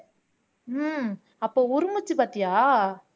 ஹம் அப்போ உறுமுச்சு பார்த்தியா